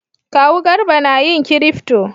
Kawu Garba na yin kirifto